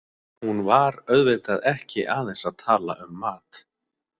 Hún var auðvitað ekki aðeins að tala um mat.